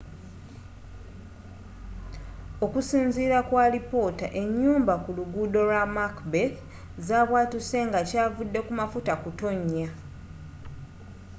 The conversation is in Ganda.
okusinziira ku alipoota enyumba ku luguudo lwa macbeth zabwatuse nga kyavudde ku mafuta kutonya